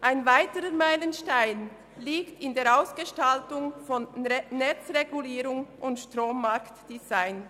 Ein weiterer Meilenstein liegt in der Ausgestaltung von Netzregulierung und Strommarktdesign.